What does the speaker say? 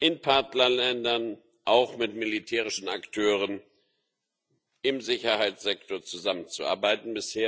in Partnerländern auch mit militärischen Akteuren im Sicherheitssektor zusammenzuarbeiten.